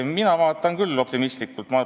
Mina vaatan küll optimistlikult.